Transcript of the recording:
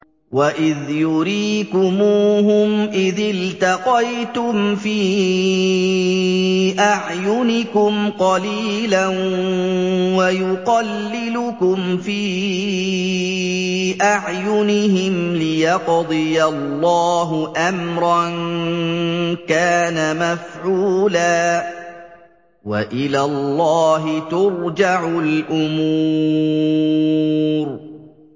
وَإِذْ يُرِيكُمُوهُمْ إِذِ الْتَقَيْتُمْ فِي أَعْيُنِكُمْ قَلِيلًا وَيُقَلِّلُكُمْ فِي أَعْيُنِهِمْ لِيَقْضِيَ اللَّهُ أَمْرًا كَانَ مَفْعُولًا ۗ وَإِلَى اللَّهِ تُرْجَعُ الْأُمُورُ